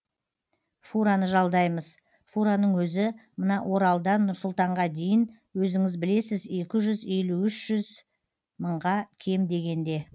фураны жалдаймыз фураның өзі мына оралдан нұр сұлтанға дейін өзіңіз білесіз екі жүз елу үш жүз мыңға кем дегенде